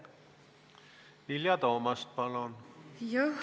Vilja Toomast, palun!